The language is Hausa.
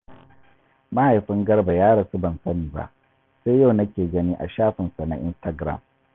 Mahaifin Garba ya rasu ban sani ba, sai yau nake gani a shafinsa na Instagiram